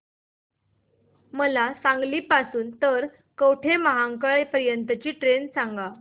मला सांगली पासून तर कवठेमहांकाळ पर्यंत ची ट्रेन सांगा